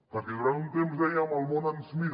perquè durant un temps dèiem el món ens mira